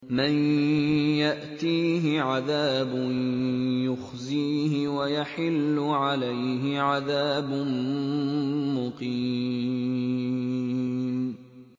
مَن يَأْتِيهِ عَذَابٌ يُخْزِيهِ وَيَحِلُّ عَلَيْهِ عَذَابٌ مُّقِيمٌ